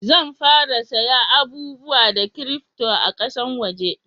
Zan fara saya abubuwa da kirifto a kasan waje